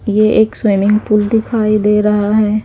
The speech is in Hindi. ये एक स्विमिंग पूल दिखाई दे रहा है।